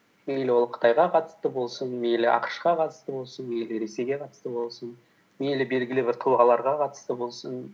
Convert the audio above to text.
мейлі ол қытайға қатысты болсын мейлі ақш қа қатысты болсын мейлі ресейге қатысты болсын мейлі белгілі бір тұлғаларға қатысты болсын